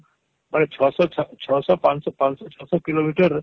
ମାନେ ଛଅଶ ଛଅଶ ୫୦୦ ୫୦୦ ୬୦୦ କିଲୋମିଟର